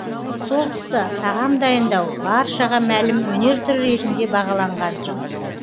сол тұста тағам дайындау баршаға мәлім өнер түрі ретінде бағаланған